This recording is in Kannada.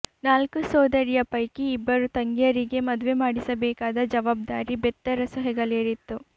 ನಾಲ್ಕು ಸೋದರಿಯ ಪೈಕಿ ಇಬ್ಬರು ತಂಗಿಯರಿಗೆ ಮದುವೆ ಮಾಡಿಸಬೇಕಾದ ಜವಾಬ್ದಾರಿ ಬೆತ್ತರಸು ಹೆಗಲೇರಿತ್ತು